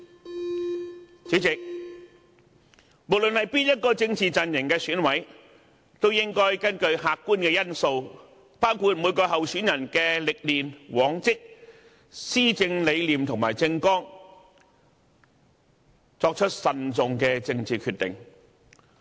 代理主席，無論哪一個政治陣營的選委都應該根據客觀因素，包括每位候選人的歷練、往績、施政理念和政綱，作出慎重的政治決定。